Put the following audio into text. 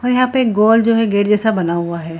और यहाँ पे एक गोल जो है गेट जैसा बना हुआ है।